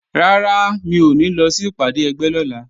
Rárá, mi ò ní lọ sí ìpàdé ẹgbẹ́ lọ́la